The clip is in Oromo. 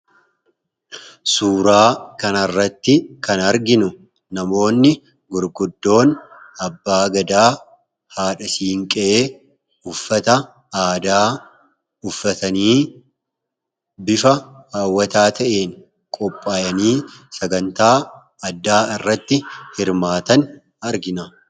Suuraa kanarratti kan arginu namoonni gurguddoon Abbaa Gadaa, Haadha Siinqee, uffata aadaa uffatanii, bifa hawwataa ta'een qophaa'anii sagantaa addaa irratti hirmaatan argina.